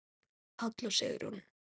Páll og Sigrún.